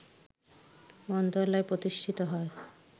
মন্ত্রণালয় প্রতিষ্ঠিত হয়